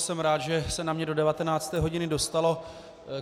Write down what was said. Jsem rád, že se na mě do 19. hodiny dostalo.